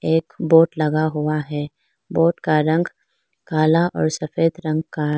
एक बोर्ड लगा हुआ है बोर्ड का रंग काला और सफेद रंग है।